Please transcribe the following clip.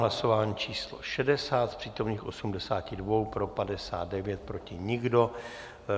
Hlasování číslo 60, z přítomných 82 pro 59, proti nikdo.